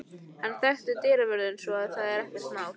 Hann þekkir dyravörðinn svo að það er ekkert mál.